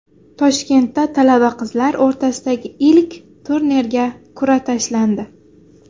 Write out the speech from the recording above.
Toshkentda talaba qizlar o‘rtasidagi ilk turnirga qur’a tashlandi.